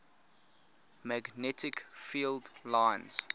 magnetic field lines